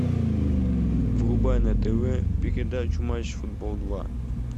врубай на тв передачу матч футбол два